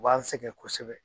U b'an sɛgɛn kosɛbɛ.